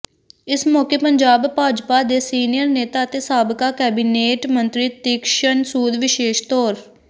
ਇਸ ਮੌਕੇ ਪੰਜਾਬ ਭਾਜਪਾ ਦੇ ਸੀਨੀਅਰ ਨੇਤਾ ਅਤੇ ਸਾਬਕਾ ਕੈਬਿਨੇਟ ਮੰਤਰੀ ਤੀਕਸ਼ਣ ਸੂਦ ਵਿਸ਼ੇਸ਼ ਤੌਰ